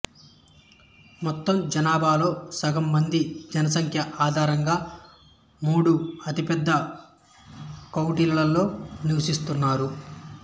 మొత్తం జనాభాలో సగం మంది జనసంఖ్య ఆధారంగా మూడు అతిపెద్ద కౌంటీలలో నివసిస్తున్నారు